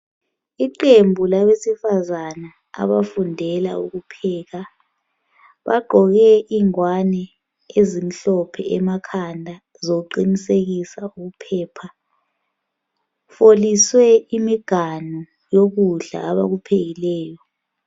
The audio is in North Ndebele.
Iqembu labesifazana abafundela ukupheka. Bagqoke ingwane ezimhlophe emakhanda, zokuqinisekisa ukuphepha. Foliswe imiganu yokudla abakuphekileyo.